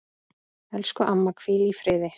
Elsku amma, hvíl í friði.